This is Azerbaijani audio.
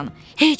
Heç vaxt!